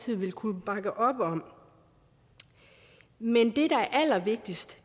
vil kunne bakke op om men det der er allervigtigst